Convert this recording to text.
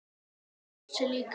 Hann brosir líka.